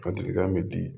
Kadikan be di